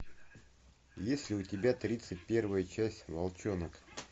есть ли у тебя тридцать первая часть волчонок